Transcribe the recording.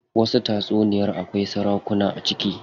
Wasu tatsuniyar akwai sarakuna a ciki.